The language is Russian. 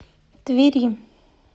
твери